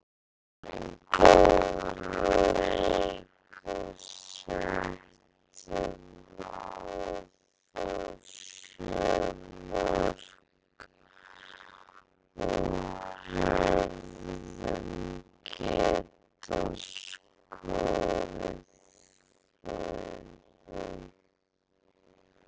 Sýndum góðan leik og settum á þá sjö mörk og hefðum getað skorað fleiri.